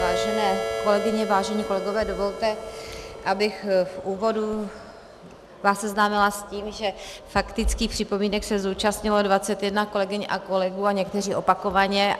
Vážené kolegyně, vážení kolegové, dovolte, abych v úvodu vás seznámila s tím, že faktických připomínek se zúčastnilo 21 kolegyň a kolegů a někteří opakovaně.